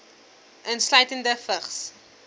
insluitende vigs